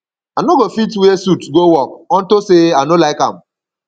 i no go fit wear suit go work unto say i no like am